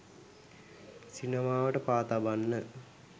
සිනමාවට පා තබන්න